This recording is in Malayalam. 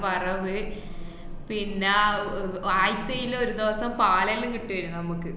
വറവ് പിന്ന ആഹ് ആയിച്ചയിലൊരു ദിവസം പാലെല്ലോ കിട്ടുവാര്ന്ന് നമുക്ക്.